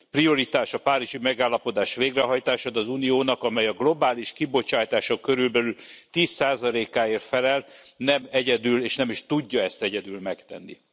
Prioritás a Párizsi Megállapodás végrehajtása, de az Uniónak, amely a globális kibocsátások körülbelül 10 áért felel, nem egyedül és nem is tudja ezt egyedül megtenni.